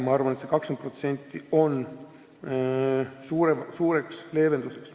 Usun, et see 20% on suureks leevenduseks.